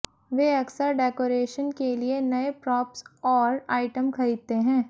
वे अक्सर डेकोरेशन के लिए नए प्रॉप्स और आइटम खरीदते हैं